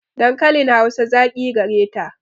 Dankalin Hausa zaƙi gareta.